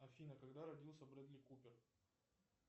афина когда родился бредли купер